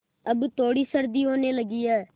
अब थोड़ी सर्दी होने लगी है